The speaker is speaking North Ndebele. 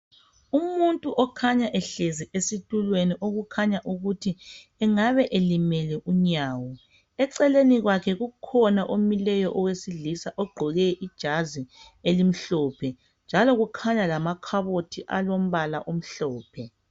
Umuntu okhanya ehlezi esitulweni okukhanya ukuthi engabe elimele unyawo eceleni kwakhe kukhona omileyo owesilisa ogqoke ijazi elimhlophe njalo kukhanya lamakhabothi alombala omhlophe.